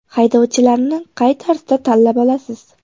Haydovchilarni qay tarzda tanlab olasiz?